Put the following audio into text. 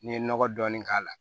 N'i ye nɔgɔ dɔɔni k'a la